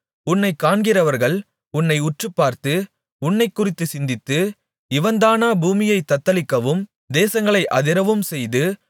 உன்னைக் காண்கிறவர்கள் உன்னை உற்றுப்பார்த்து உன்னைக்குறித்துச் சிந்தித்து இவன்தானா பூமியைத் தத்தளிக்கவும் தேசங்களை அதிரவும் செய்து